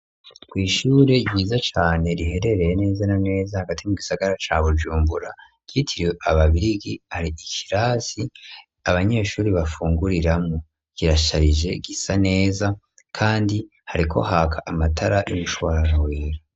Kw'ishure ryiza cane, riherereye neza na neza, hagati mu gisagara, ca Bujumbura, ryitirwe ababirigi; hari ikirasi, abanyeshuri bafunguriramwo, kirasharije, gisa neza, kandi hariko haka amatara, y'umushwarara wera.